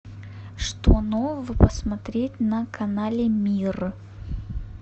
что нового посмотреть на канале мир